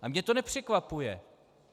A mě to nepřekvapuje.